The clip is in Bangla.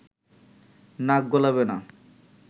নাক গলাবে না